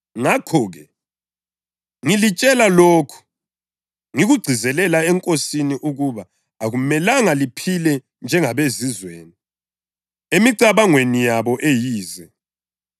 Ngakho-ke, ngilitshela lokhu, ngikugcizelela eNkosini, ukuba akumelanga liphile njengabeZizweni emicabangweni yabo eyize.